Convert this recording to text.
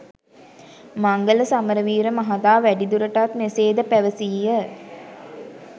මංගල සමරවීර මහතා වැඩිදුරටත් මෙසේ ද පැවසීය